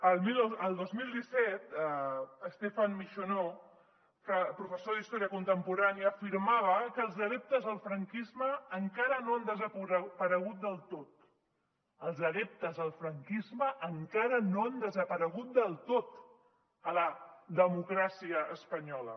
el dos mil disset stéphane michonneau professor d’història contemporània afirmava que els adeptes del franquisme encara no han desaparegut del tot els adeptes al franquisme encara no han desaparegut del tot a la democràcia espanyola